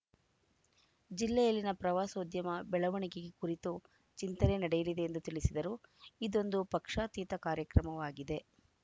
ಜಿಲ್ಲೆಯಲ್ಲಿನ ಪ್ರವಾಸೋದ್ಯಮ ಬೆಳವಣಿಗೆಗೆ ಕುರಿತು ಚಿಂತನೆ ನಡೆಯಲಿದೆ ಎಂದು ತಿಳಿಸಿದರು ಇದೊಂದು ಪಕ್ಷಾತೀತ ಕಾರ್ಯಕ್ರಮವಾಗಿದೆ